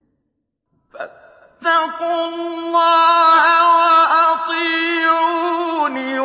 فَاتَّقُوا اللَّهَ وَأَطِيعُونِ